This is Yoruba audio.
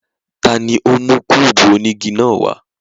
Tani o mu kúbú onigi naa wa?